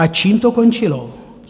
A čím to končilo?